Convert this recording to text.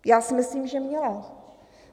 Já si myslím, že měla.